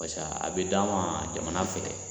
Paseke a bɛ d'an ma jamana fɛ